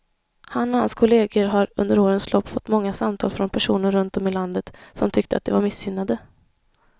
Han och hans kolleger har under årens lopp fått många samtal från personer runt om i landet som tyckte att de var missgynnade.